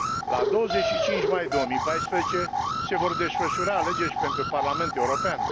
La 25 mai 2014 se vor desfășura alegeri și pentru Parlamentul European.